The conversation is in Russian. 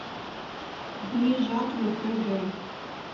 дни жатвы х д